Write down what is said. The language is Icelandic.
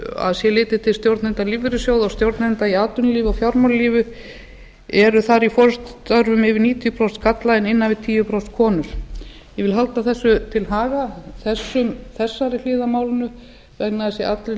að sé litið til stjórnenda lífeyrissjóða og stjórnenda í atvinnulífi og fjármálalífi eru þar í forustustörfum yfir níutíu prósent karla en innan við tíu prósent konur ég vil halda þessu til haga þessari hlið á málinu vegna þess að í